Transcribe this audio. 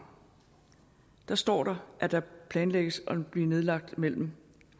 står der at der planlægges at blive nedlagt mellem en